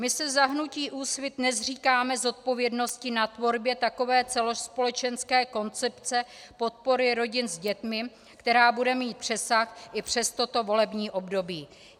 My se za hnutí Úsvit nezříkáme zodpovědnosti na tvorbě takové celospolečenské koncepce podpory rodin s dětmi, která bude mít přesah i přes toto volební období.